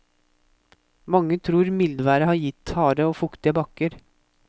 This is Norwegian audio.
Mange tror mildværet har gitt harde og fuktige bakker.